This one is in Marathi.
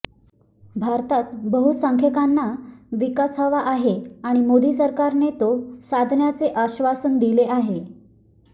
भारतात बहुसंख्यांना विकास हवा आहे आणि मोदी सरकारने तो साधण्याचे आश्वासन दिले आहे